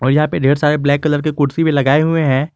यहां पे ढेर सारे ब्लैक कलर के कुर्सी भी लगाए हुए हैं।